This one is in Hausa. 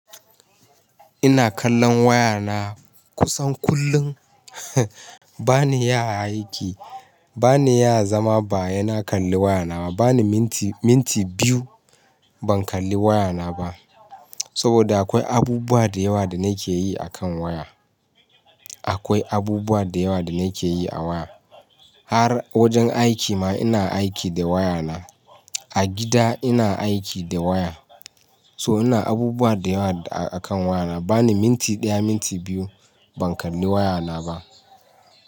Ina kallon waya na kusan kullum. Ba ni iya aiki, ba ni iya zama ba he na kalli waya na. Ba ni minti, minti biyu ban kalli waya na ba. Saboda akwai abubuwa da yawa da na ke yi a kan waya. Akwai abubuwa da yawa da na ke yi a waya. Har wajen aiki ma ina aiki da waya na. A gida ina aiki da waya. So ina abubuwa da yawa a kan waya na. Ba ni minti ɗaya, minti biyu ban kalli waya na ba.